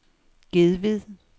Gedved